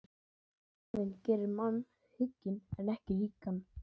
Skaðinn gerir mann hygginn en ekki ríkan.